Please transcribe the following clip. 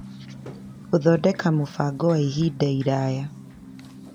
Gũthondeka mũbango wa ihinda iraya.